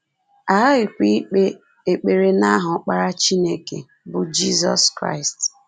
A ghaghịkwa ikpe ekpere n’aha Ọkpara Chineke, bụ́ Jizọs Kraịst